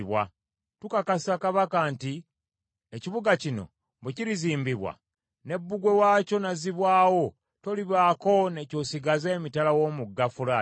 Tukakasa kabaka nti ekibuga kino bwe kirizimbibwa ne bbugwe waakyo n’azzibwawo, tolibaako ne ky’osigaza emitala w’omugga Fulaati.